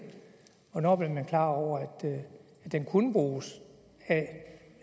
hvornår blev man klar over at den kunne bruges af